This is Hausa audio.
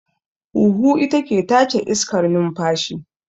Huhu ita ke tace iskar numfashi